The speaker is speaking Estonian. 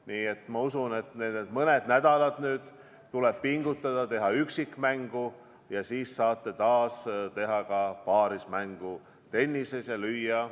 Nii et ma usun, et need mõned nädalad tuleb pingutada, teha üksikmängu, ja siis saate taas teha tennises ka paarismängu ja lüüa serve.